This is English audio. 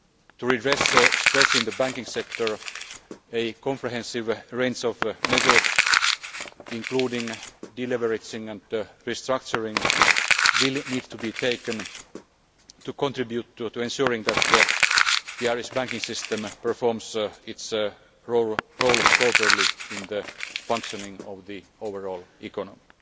To redress stress in the banking sector, a comprehensive range of measures including deleveraging and restructuring will need to be taken to contribute to ensuring that the Irish banking system performs its role properly in the functioning of the overall economy.